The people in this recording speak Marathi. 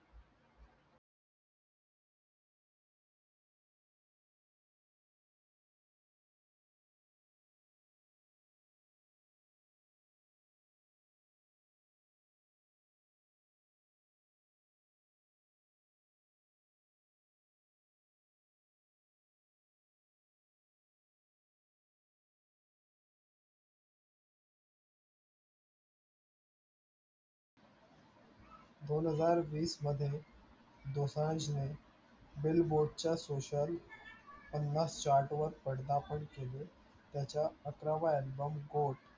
दोनहजार वीसमध्ये दोसांजने billboard च्या social पन्नास chart वर पदार्पण केले, त्याचा अठरावा album